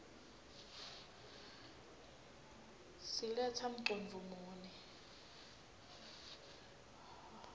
siletsa mcondvo muni